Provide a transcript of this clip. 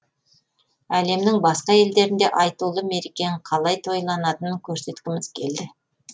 әлемнің басқа елдерінде айтулы мерекенің қалай тойланатынын көрсеткіміз келді